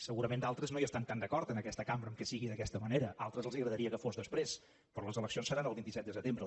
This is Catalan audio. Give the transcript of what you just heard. segurament d’altres no hi estan tan d’acord en aquesta cambra que sigui d’aquesta manera a altres els agradaria que fos després però les eleccions seran el vint set de setembre